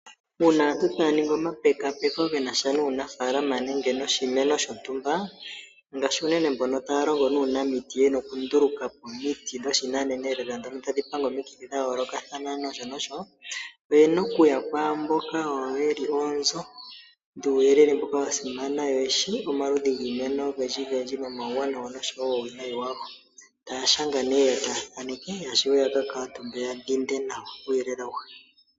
Uuna aantu taya ningi omapekapeko shi nasha nuunafaalama nenge noshimeno shontumba, ngaashi unene mbono taya longo nuunamiti yena oku nduluka po omiti dhoshinanena lela dhono tadhi panga omikithi dha yoolokathana nosho nosho. Oyena okuya kwaamboka wo yeli oonzo dhuuyelele mboka wa simana yo yeshi omaludhi giimeno oyindji no mauwanawa nosho wo uuwineyi wago. Taya shanga nee yo taya thaneke ya shuwe ya ka kaatumbe ya dhinde nawa uuyelele awuhe.